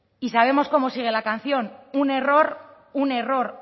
y sabemos cómo sigue la canción un error un error